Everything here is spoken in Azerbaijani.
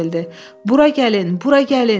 Bura gəlin, bura gəlin!